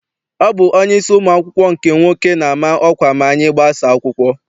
Ọ bụ onyeisi ụmụ akwụkwọ nke nwoke na-ama ọkwa ma anyị gbasaa akwụkwọ.